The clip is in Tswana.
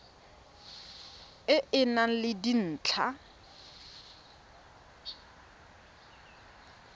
e e nang le dintlha